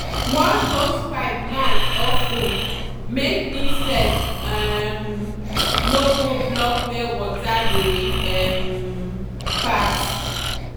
wash hosepipe mouth of ten make insect um no go block where water dey um pass.